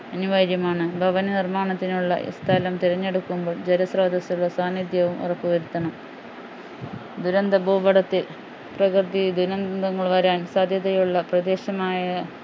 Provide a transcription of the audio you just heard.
അനിവാര്യമാണ് ഭവന നിർമാണത്തിനുള്ള സ്ഥലം തെരഞ്ഞെടുക്കുമ്പോൾ ജലസ്രോതസ്സുകൾ സാന്നിധ്യവും ഉറപ്പു വരുത്തണം ദുരന്ത ഭൂപടത്തിൽ പ്രകൃതി ദുരന്തങ്ങൾ വരാൻ സാധ്യതയുള്ള പ്രദേശമായ